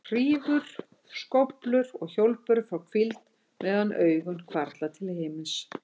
Hrífur, skóflur og hjólbörur fá hvíld meðan augun hvarfla til himins.